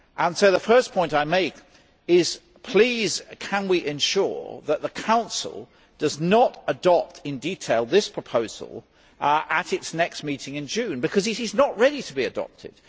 So the first point I make is, please, can we ensure that the Council does not adopt in detail this proposal at its next meeting in June, because it is not ready to be adopted?